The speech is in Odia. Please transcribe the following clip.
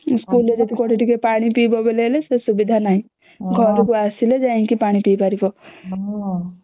ସ୍କୁଲ ରେ କେବେ ଟିକେ ପାଣି ବି ପିଇବା ବୋଲେ ସେ ସୁବିଧା ବି ନାହିଁ ଘରକୁ ଆସିଲେ ଯାଇକି ପାଣି ପୀ ପାରିବା